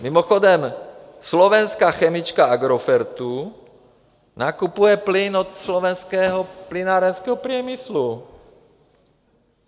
Mimochodem slovenská chemička Agrofertu nakupuje plyn od Slovenského plynárenského priemyslu.